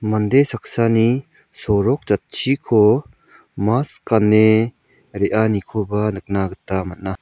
mande saksani sorok jatchiko mas gane re·anikoba nikna gita man·a.